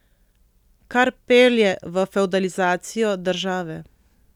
Kar pelje v fevdalizacijo države.